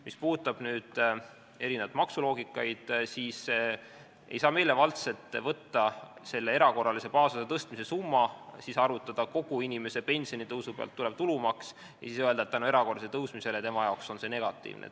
Mis puudutab erinevaid maksuloogikaid, siis ei saa meelevaldselt võtta selle erakorralise baasosa tõstmise summat, arvutada välja kogu inimese pensionitõusu pealt tulev tulumaks ja öelda, et erakorralise tõusu tõttu on see tal negatiivne.